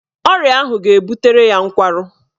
Ọrịa ahụ ga-ebutere ya nkwarụ